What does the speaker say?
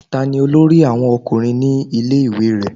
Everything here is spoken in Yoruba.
Ta ni olórí àwọn ọkùnrin ní ilé ìwé rẹ?